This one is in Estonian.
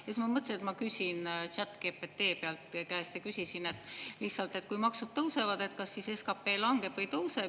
Siis ma mõtlesin, et ma küsin ChatGPT käest ja küsisin lihtsalt, et kui maksud tõusevad, kas siis SKP langeb või tõuseb.